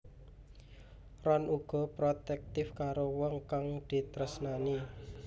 Ron uga protektif karo wong kang ditresnani